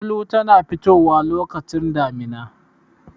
Gulu tana fitowa lokacin damina.